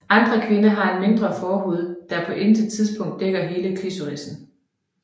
Andre kvinder har en mindre forhud der på intet tidspunkt dækker hele klitorisen